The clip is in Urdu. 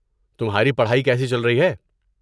تمہاری پڑھائی کیسی چل رہی ہے؟